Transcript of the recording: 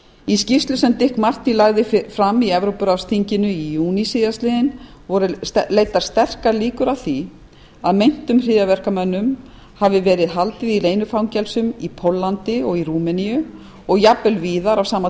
í skýrslu sem dick marty lagði fram í evrópuráðsþinginu í júní síðastliðinn voru leiddar sterkar líkur að því að meintum hryðjuverkamönnum hafi verið haldið í leynifangelsum í póllandi og rúmeníu og jafnvel víðar á sama